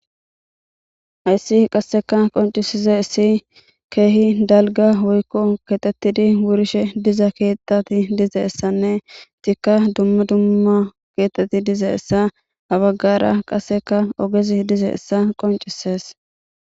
Haysi qasekka qoncisizaysi kehi dalga woyko kexetidi wurishe diza ketati dizaysannetikka dumma dumma ketati dizaysa ha bagara qasekka ogezi dizaysa qoncises